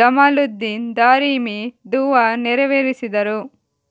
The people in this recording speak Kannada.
ಜಮಾಲುದ್ದೀನ್ ದಾರಿಮಿ ದುವಾ ನೆರವೇರಿಸಿದರು